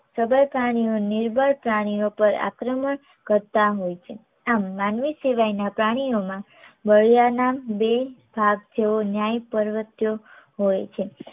સબર પ્રાણીઓ નિર્બળ પ્રાણીઓ પર આક્રમણ કરતા હોય છે. આમ માનવી સિવાયના પ્રાણીઓમાં બળિયાના બે ભાગ જેવો ન્યાય પ્રવત્યો હોય છે